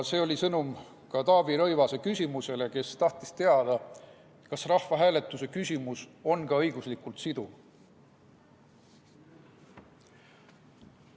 See sõnum oli ka vastuseks Taavi Rõivase küsimusele, kes tahtis teada, kas rahvahääletuse küsimus on õiguslikult siduv.